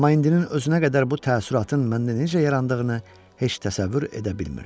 Amma indinin özünə qədər bu təəssüratın məndə necə yarandığını heç təsəvvür edə bilmirdim.